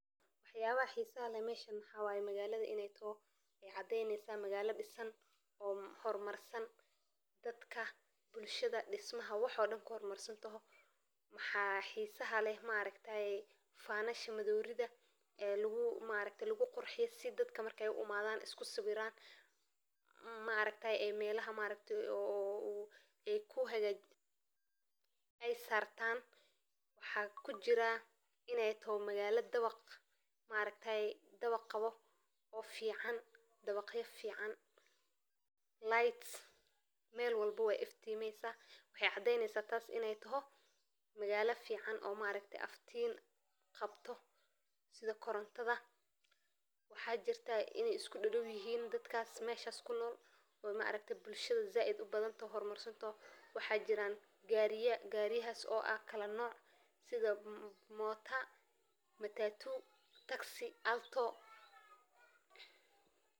Waa magaalo ku taalla dalka Kenya ee bartamaha qaaradda Afrika, oo caan ku ah xeebaha quruxda badan ee cadceedda lagu dareemo, waddooyin qurxoon oo ay ku jiraan dhaqamo kala duwan, iyo taariikh dheer oo lala wadaagto qarniyo badan, taas oo ka dhigaysa meel xiiso leh oo dalxiisayaasha laga soo booqdo, gaar ahaan xaafadaha ee leh qaab dhismeedkii reer Yurub iyo quruxda macdaniga ah, suuqa ku yaalla oo ay ka iibsan karaan alaabooyin kala duwan oo uu ka mid yahay suuqa iyo munaasabadaha dhaqanka.